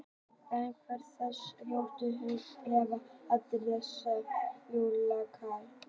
En hvernig datt Rósu í hug að gefa allar þessar jólagjafir?